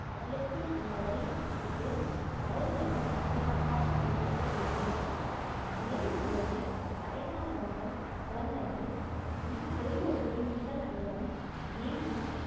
கடலுக்குச் செல்லுவதை தவிர்த்து படகுகளைப் பாதுகாப்பாக வைத்திருக்க வேண்டும் புயலின் போது வயதானவர்கள், குழந்தைகள் மற்றும் குடும்ப உறுப்பினர்கள் அனைவரும் வீட்டில்